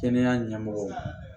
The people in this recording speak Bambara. Kɛnɛya ɲɛmɔgɔw